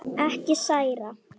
Ekki særa.